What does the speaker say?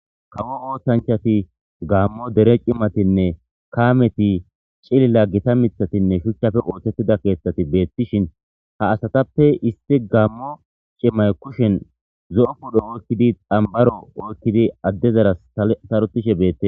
Kawo oosanchati gaammo dere cimatinne kaameti cilila gita mithatinne shuchchafe ooththettida keeththati beettishin ha asatappe isti gaammo cimay kushen zo7o pudho oykkidi xambaro oykkidi addezaras sarutishe bette.